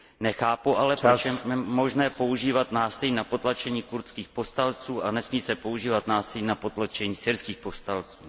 Nechápu ale, proč je možné používat násilí na potlačení kurdských povstalců a nesmí se používat násilí na potlačení syrských povstalců.